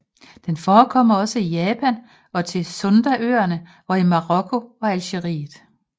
Den forekommer også i Japan og til Sundaøerne og i Marokko og Algeriet